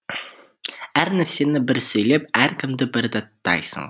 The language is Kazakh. әр нәрсені бір сөйлеп әркімді бір даттайсың